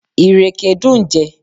Ìrèké dùn jẹ.